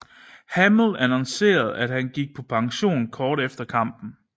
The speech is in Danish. Hamill annoncerede at han gik på pension kort efter kampen